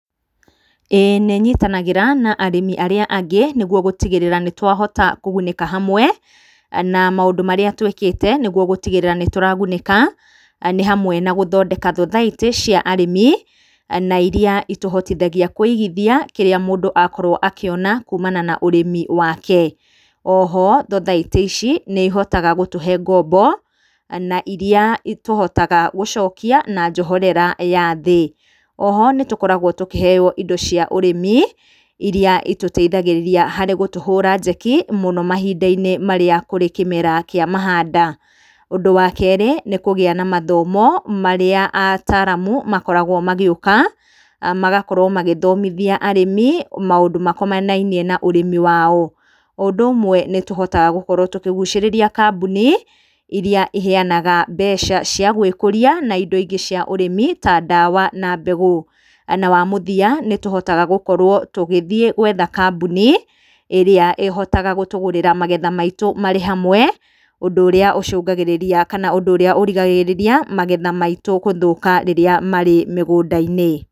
ĩĩ nĩ nyitanagĩra na arĩmi arĩa angĩ nĩguo gũtigĩrĩra atĩ nĩtwahota kũgunĩka hamwe. Na maũndũ marĩa twĩkĩte nĩguo gũtigĩrĩra nĩtũragunĩka nĩ hamwe na gũthondeka thothaitĩ cia arĩmi na iria itũhotithagia kũigithia kĩrĩa mũndũ akorwo akĩona kumana na ũrĩmi wake. Oho thothaitĩ ici nĩihotaga gũtũhe ngombo na iria tũhotaga gũcokia na njoherera ya thĩ. Oho nĩtũkoragwo tũkĩheyo indo cia ũrĩmi iria itũteithagĩrĩria harĩ gũtũhũra njeki mũno mahinda-inĩ marĩa kũrĩ kĩmera kĩa mahanda. Ũndũ wa kerĩ, nĩ kũgĩa na mathomo marĩa ataramu makoragwo magĩũka magakorwo magĩthomithia arĩmi maũndũ makonainie na ũrĩmi wao. O ũndu ũmwe nĩtũhotaga gũkorwo tũkĩgucĩrĩria kambuni iria ciheyanaga mbeca cia gwĩkũria na indo ingĩ cia ũrĩmi ta ndawa na mbegũ. Na wa mũthia nĩtũhotaga gũkorwo tũgĩthiĩ gwetha kamboni ĩrĩa ĩhotaga gũtũgũrĩra magetha maitũ marĩ hamwe, ũndũ ũrĩa ũcũngagĩrĩria kana ũndũ ũria ũrigagĩrĩria magetha maitũ gũthũka rĩrĩa marĩ mĩgũnda-inĩ.